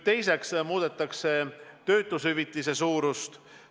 Teiseks muudetakse töötushüvitise suurust.